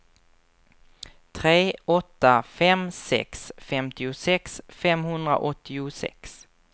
tre åtta fem sex femtiosex femhundraåttiosex